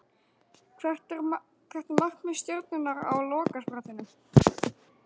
Hvert er markmið Stjörnunnar á lokasprettinum?